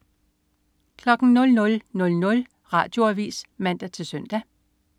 00.00 Radioavis (man-søn)